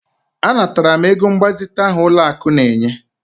Anatara m ego mgbazite ahụ ụlọakụ na-enye